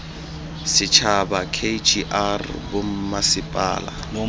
setšhaba k g r bommasepala